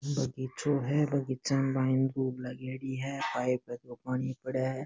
बगीचों है बगीचा में पाइप खूब लागोड़ी है पाइप है जो पानी पड़े है।